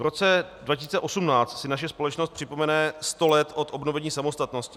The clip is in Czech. V roce 2018 si naše společnost připomene 100 let od obnovení samostatnosti.